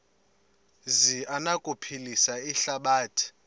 zi anokuphilisa ihlabathi